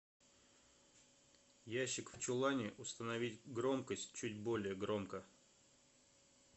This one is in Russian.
ящик в чулане установить громкость чуть более громко